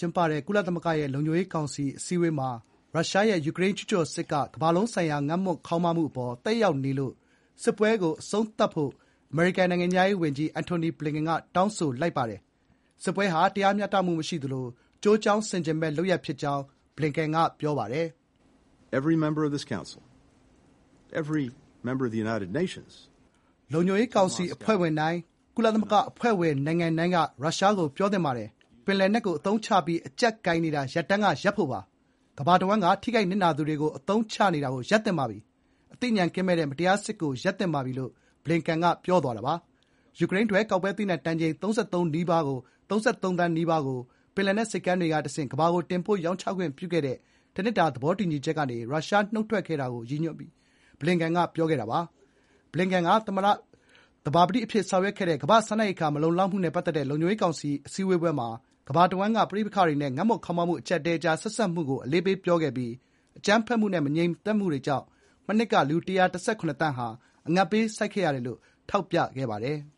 ျင်းပတဲ့ ကုလသမဂ္ဂရဲ့လုံခြုံရေးကောင်စီ အစည်းအဝေးမှာ ရုရှားရဲ့ ယူကရိန်းကျူးကျော်စစ်က ကမ္ဘာလုံးဆိုင်ရာ ငတ်မွတ်ခေါင်းပါးမှုအပေါ် သက်ရောက်နေလို့ စစ်ပွဲကိုအဆုံးသတ်ဖို့ အမေရိကန်နိုင်ငံခြားရေးဝန်ကြီး အန်ထိနီ ဘလင်ကန်က တောင်းဆိုလိုက်ပါတယ်။ “စစ်ပွဲဟာ တရားမျှတမှု မရှိသလို ကျိုးကြောင်းဆင်ခြင်မဲ့” လုပ်ရပ် ဖြစ်ကြောင်း ဘလင်ကန်က ပြောပါတယ်။ “လုံခြုံရေး ကောင်စီအဖွဲ့ဝင်တိုင်း၊ ကုလသမဂ္ဂအဖွဲ့ဝင်နိုင်ငံတိုင်းက ရုရှားကို ပြောသင့်ပါတယ်။ ပင်လယ်နက်ကို အသုံးချပြီး အကျပ်ကိုင်နေတာ ရပ်တန်းကရပ်ဖို့ပါ။ ကမ္ဘာတဝန်းက ထိခိုက်နစ်နာသူတွေကို အသုံးချနေ နေတာကို ရပ်သင့်ပါပြီ။ အသိဉာဏ်ကင်းမဲ့တဲ့ မတရား စစ်ပွဲကို ရပ်သင့်ပါပြီ>” လို့ ဘလင်ကန်က ပြောသွားတာပါ။ ယူကရိန်းထွက် ကောက်ပဲသီးနှံ တန်ချိန် ၃၃ သန်းနီးပါးကို ပင်လယ်နက် ဆိပ်ကမ်းတွေကတဆင့် ကမ္ဘာကို တင်ပို့ရောင်းချခွင့်ပြုခဲ့တဲ့ တနှစ်တာ သဘောတူညီချက်က ရုရှားနုတ်ထွက်ခဲ့တာကို ရည်ညွှန်းပြီး ဘလင်ကန်က ပြောခဲ့တာပါ။ ဘလင်ကန်က သဘာပတိအဖြစ်ဆောင်ရွက်ခဲ့တဲ့ ကမ္ဘာ့စားနပ်ရိက္ခာမလုံလောက်မှုနဲ့ပတ်သက်တဲ့ လုံခြုံရေးကောင်စီအစည်းအဝေး မှာ ကမ္ဘာတဝန်းက ပဋိပက္ခတွေနဲ့ ငတ်မွတ်ခေါင်းပါးမှု အကျပ်အတည်းကြား ဆက်စပ်မှုကို အလေးပေးပြောခဲ့ပြီး အကြမ်းဖက်မှုနဲ့ မငြိမ်မသက်မှုတွေကြောင့် မနှစ်က လူ ၁၁၇ သန်းဟာ အငတ်ဘေးဆိုက်ခဲ့ရတယ်လို့ ထောက်ပြပါတယ်။